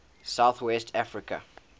south west africa